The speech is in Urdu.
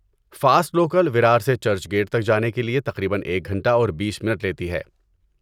فاسٹ لوکل ویرار سے چرچ گیٹ تک جانے کے لیے تقریبا ایک گھنٹہ اور بیس منٹ لیتی ہے